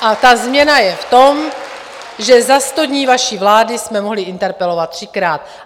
A ta změna je v tom, že za sto dní vaší vlády jsme mohli interpelovat třikrát.